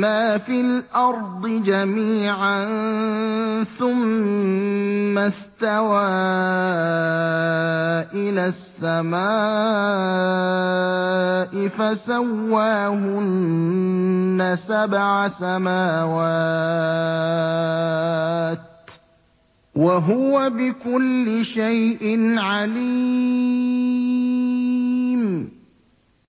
مَّا فِي الْأَرْضِ جَمِيعًا ثُمَّ اسْتَوَىٰ إِلَى السَّمَاءِ فَسَوَّاهُنَّ سَبْعَ سَمَاوَاتٍ ۚ وَهُوَ بِكُلِّ شَيْءٍ عَلِيمٌ